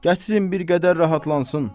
Gətirin bir qədər rahatlansın.